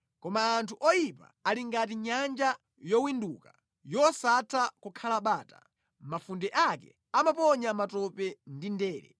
Koma anthu oyipa ali ngati nyanja yowinduka, yosatha kukhala bata, mafunde ake amaponya matope ndi ndere.